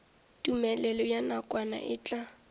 tumelelo ya nakwana e tla